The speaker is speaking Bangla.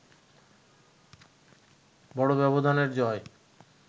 বড় ব্যবধানের জয়